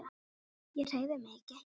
Ég hreyfi mig ekki.